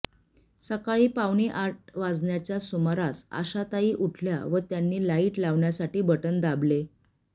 सकाळी पावणे आठ वाजण्याच्या सुमारास आशाताई उठल्या व त्यांनी लाईट लावण्यासाठी बटण दाबले